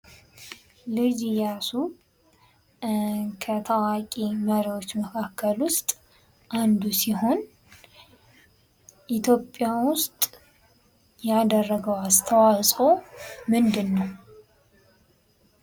ልጅ እያሱ ከታዋቂ መሪዎች መካከል ውስጥ አንዱ ሲሆን ኢትዮጵያ ውስጥ ያደረገው አስተዋጽኦ ምንድነው?